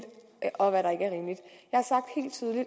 og hvad der ikke